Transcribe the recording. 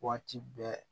Waati bɛɛ